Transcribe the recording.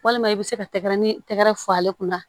Walima i bɛ se ka tɛgɛrɛ ni tɛgɛ fɔ ale kunna